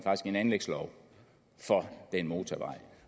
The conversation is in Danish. også en anlægslov for den motorvej